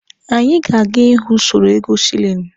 Anyị ga-aga ịhụ usoro ego shilini.